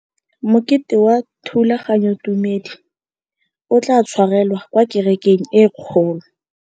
Mokete wa thulaganyôtumêdi o tla tshwarelwa kwa kerekeng e kgolo.